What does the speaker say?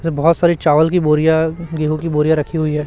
इधर बहोत सारे चावल की बोरियां गेहूं की बोरियां रखी हुई है।